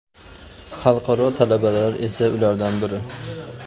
Xalqaro talabalar esa ulardan biri.